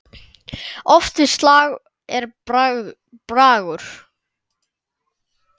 Oft við slag er bragur.